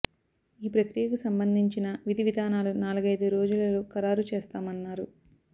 ఈ ప్రక్రియకు సంబంధించిన విధి విధానాలు నాలుగైదు రోజులలో ఖరారు చేస్తామన్నారు